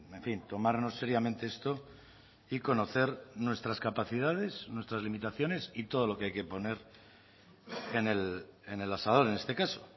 en fin tomarnos seriamente esto y conocer nuestras capacidades nuestras limitaciones y todo lo que hay que poner en el asador en este caso